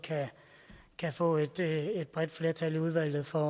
kan få et bredt flertal i udvalget for